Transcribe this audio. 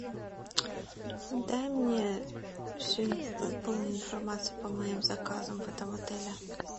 дай мне всю полную информацию по моим заказам в этом отеле